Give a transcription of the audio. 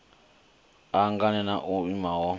a hanganea na o niwaho